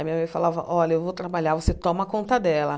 A minha mãe falava, olha, eu vou trabalhar, você toma conta dela.